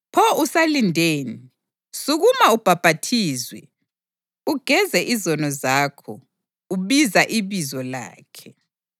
Pho usalindeni? Sukuma ubhaphathizwe, ugeze izono zakho, ubiza ibizo lakhe.’